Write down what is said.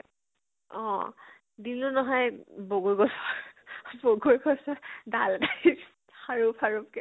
অ, দিলো নহয় বগৰী গছৰ বগৰী গছৰ ডাল এটে ৰে খাৰুপ খাৰুপ কে